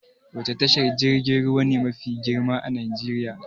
Wani tashar jirgin ruwa ne mafi girma a Najeriya?